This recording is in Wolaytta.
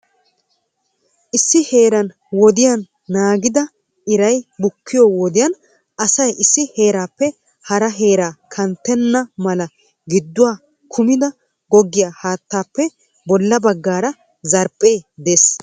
Issi heeran wodiyan naagidi iray bukkiyo wodiyaan asay issi heerappe hara heeraa kanttena mala gidduwa kummidi googgiya haattappe bolla baggaara zarphphee de'ees.